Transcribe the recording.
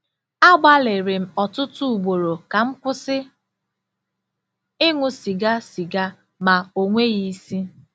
Agbalịrị m ọtụtụ ugboro ka m kwụsị ịṅụ sịga sịga ma o nweghị isi.